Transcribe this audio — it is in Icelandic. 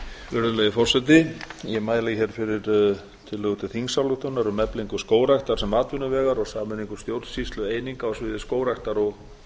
virðulegi forseti ég mæli hér fyrir tillögu til þingsályktunar um eflingu skógræktar sem atvinnuvegar og sameiningu stjórnsýslueininga á sviði skógræktar og